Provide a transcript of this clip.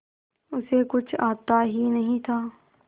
उसे कुछ आता ही नहीं था